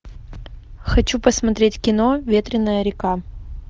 хочу посмотреть кино ветреная река